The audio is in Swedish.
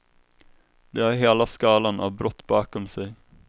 De har hela skalan av brott bakom sig.